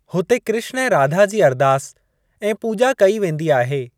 हुते कृष्‍ण ऐं राधा जी अरदास ऐं पूॼा कयी वेंदी आहे।